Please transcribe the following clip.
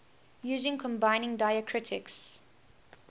using combining diacritics